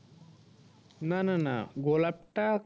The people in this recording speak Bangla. না না না গোলাপটা